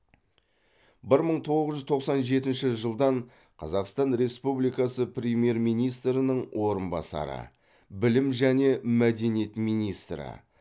бір мың тоғыз жүз тоқсан жетінші жылдан қазақстан республикасы премьер министрінің орынбасары білім және мәдениет министрі